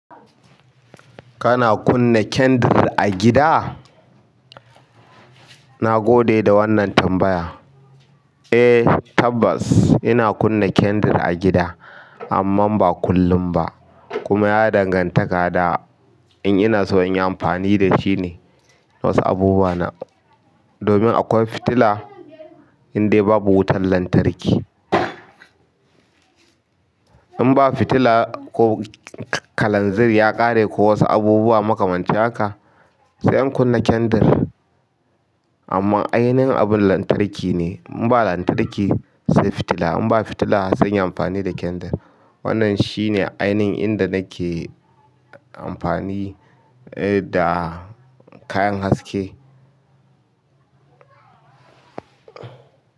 Kana kunna candle a gida? Na gode da wannan tambaya. Eh tabbas ina kunna candle a gida amma ba kullum ba kuma ya dangantaka da in ina so in yi amfani da shine wasu abubuwa na. Domin akwai fitila indai babu wutar lantarki. In ba fitila ko kalanzir ya ƙare ko wasu abubuwa makamancin haka sai in kunna candle. Amma ainihin abun lantarki ne. In ba lantarki sai fitila, in ba fitila sai in yi amfani da candle. Wannan shine ainihin inda nake amfani da kayan haske.